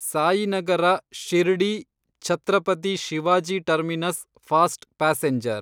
Sainagar Shirdi Chhatrapati Shivaji terminus fast passenger